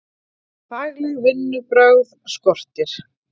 Fagleg vinnubrögð skortir